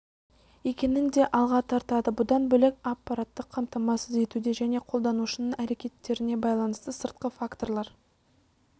екенін де алға тартады бұдан бөлек аппараттық қамтамасыз етуде және қолданушының әрекеттеріне байланысты сыртқы факторлар